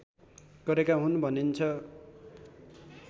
गरेका हुन् भनिन्छ